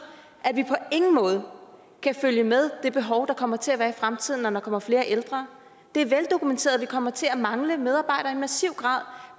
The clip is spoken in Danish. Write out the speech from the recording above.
at vi på ingen måde kan følge med det behov der kommer til at være i fremtiden når der kommer flere ældre det er veldokumenteret vi kommer til at mangle medarbejdere